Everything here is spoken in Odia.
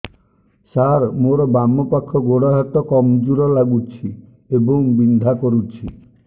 ସାର ମୋର ବାମ ପାଖ ଗୋଡ ହାତ କମଜୁର ଲାଗୁଛି ଏବଂ ବିନ୍ଧା କରୁଛି